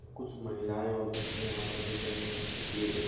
कुछ महिलायें और बच्चे यहां पर बेठे हुए है की एक --